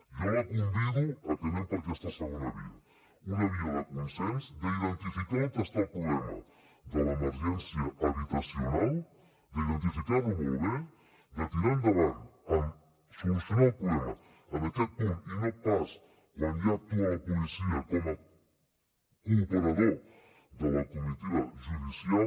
jo la convido a que anem per aquesta segona via una via de consens d’identificar on està el problema de l’emergència habitacional d’identificar lo molt bé de tirar endavant amb solucionar el problema en aquest punt i no pas quan ja actua la policia com a cooperador de la comitiva judicial